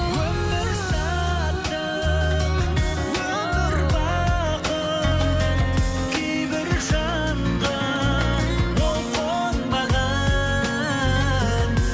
өмір шаттық өмір бақыт кейбір жанға ол қонбаған